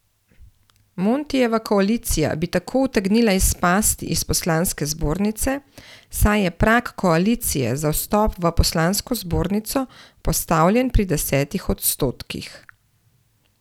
Montijeva koalicija bi tako utegnila izpasti iz poslanske zbornice, saj je prag koalicije za vstop v poslansko zbornico postavljen pri deset odstotkih.